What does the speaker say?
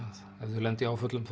að ef þau lenda í áföllum